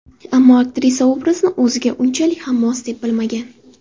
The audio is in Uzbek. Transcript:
Ammo aktrisa obrazni o‘ziga unchalik ham mos deb bilmagan.